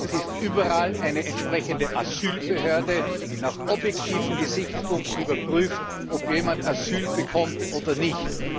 Es ist überall eine entsprechende Asylbehörde, die nach objektiven Gesichtspunkten überprüft, ob jemand Asyl bekommt oder nicht.